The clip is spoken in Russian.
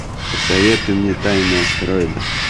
посоветуй мне тайны астероида